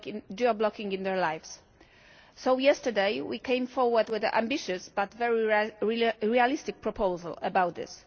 geo-blocking in their lives, so yesterday we came forward with an ambitious but very realistic proposal about this.